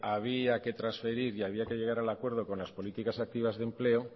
había que trasferir y había que llegar al acuerdo con las políticas activas de empleo